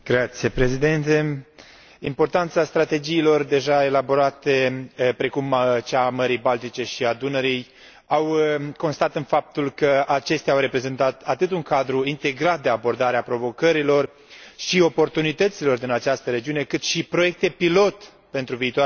Importanța strategiilor deja elaborate, precum cea a Mării Baltice și a Dunării, a constat în faptul că acestea au reprezentat atât un cadru integrat de abordare a provocărilor și oportunităților din această regiune, cât și proiecte pilot pentru viitoarele strategii macroregionale.